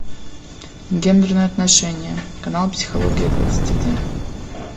гендерные отношения канал психология двадцать один